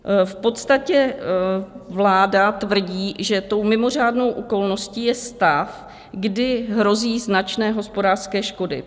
V podstatě vláda tvrdí, že tou mimořádnou okolností je stav, kdy hrozí značné hospodářské škody.